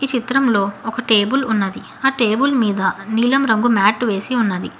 చిత్రంలో ఒక టేబుల్ ఉన్నది ఆ టేబు ల్ మీద నీలం రంగు మాటు వేసి ఉన్నది.